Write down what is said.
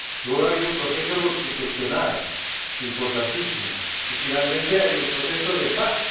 Luego, hay un proceso constitucional importantísimo, y, finalmente, hay un proceso de paz.